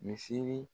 Misi